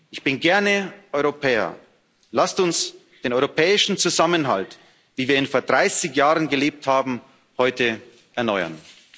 Ich bin gerne Europäer. Lasst uns den europäischen Zusammenhalt, wie wir ihn vor 30 Jahren gelebt haben, heute erneuern.